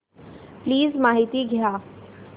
please माहिती द्या